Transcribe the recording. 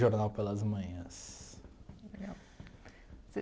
Jornal pelas Manhãs. Legal